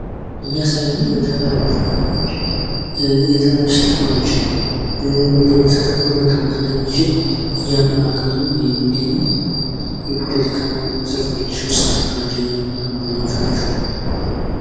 ዴሞክራሲ የሕዝብን ተሳትፎና የብዙኃኑን ድምፅ መሠረት ያደረገ የፖለቲካ ሥርዓት ሲሆን ሰብአዊ መብቶችን ያከብራል።